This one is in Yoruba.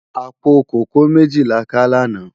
Apó kókòó méji lá ká làná